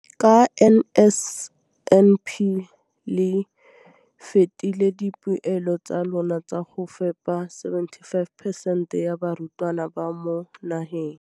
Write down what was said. Ka NSNP le fetile dipeelo tsa lona tsa go fepa masome a supa le botlhano a diperesente ya barutwana ba mo nageng.